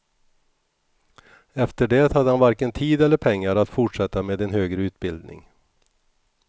Efter det hade han varken tid eller pengar att fortsätta med en högre utbildning.